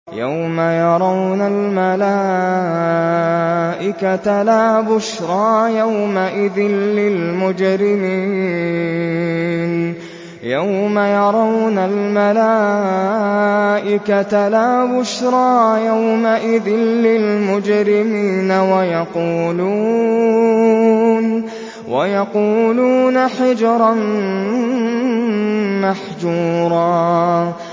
يَوْمَ يَرَوْنَ الْمَلَائِكَةَ لَا بُشْرَىٰ يَوْمَئِذٍ لِّلْمُجْرِمِينَ وَيَقُولُونَ حِجْرًا مَّحْجُورًا